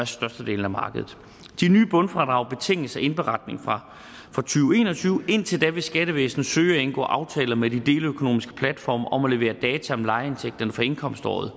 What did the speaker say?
størstedelen af markedet de nye bundfradrag betinges af indberetning fra to tusind og tyve indtil da vil skattevæsenet søge at indgå aftaler med de deleøkonomiske platforme om at levere data om lejeindtægterne for indkomstårene